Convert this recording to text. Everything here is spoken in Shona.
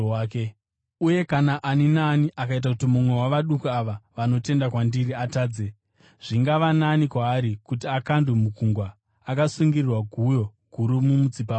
“Uye kana ani naani akaita kuti mumwe wavaduku ava vanotenda kwandiri atadze, zvingava nani kwaari kuti akandwe mugungwa akasungirirwa guyo guru mumutsipa make.